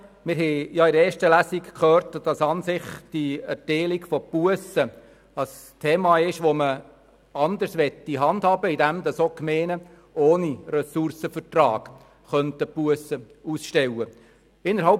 In der ersten Lesung haben wir gehört, die Erteilung von Bussen sei an und für sich ein Thema, das man anders handhaben möchte, indem auch die Gemeinden ohne Ressourcenvertrag Bussen ausstellen könnten.